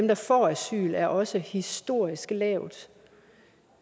der får asyl er altså også historisk lavt